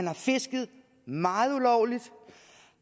har fisket meget ulovligt